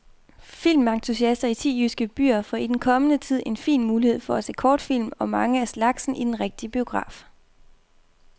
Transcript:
Filmentusiaster i ti jyske byer får i den kommende tid en fin mulighed for at se kortfilm, og mange af slagsen, i den rigtige biograf.